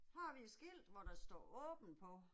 Her har vi et skilt hvor der står åben på